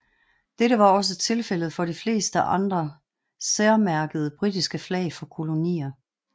Dette var også tilfældet for de fleste andre særmærkede britiske flag for kolonier